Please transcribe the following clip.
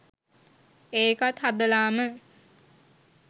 ඒකත් හදලාම